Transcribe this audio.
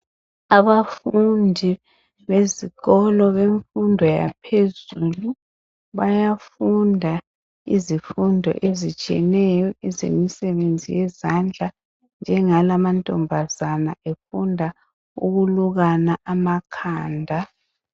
Abafundi bezikolo bemfundo yaphezulu bayafunda izifundo ezitshiyeneyo ezemisebenzi yezandla njengala amantombazana efunda ukulukana amakhanda